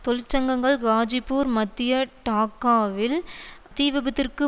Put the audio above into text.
தொழிற்சங்கங்கள் காஜிப்பூர் மத்திய டாக்காவில் தீவிபத்திற்கு